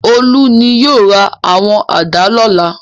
Olú ni yóò ra àwọn àdá lọ́la.